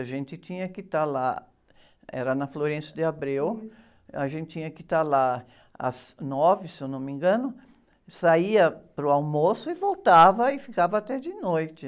A gente tinha que estar lá, era na, a gente tinha que estar lá às nove, se eu não me engano, saía para o almoço e voltava e ficava até de noite.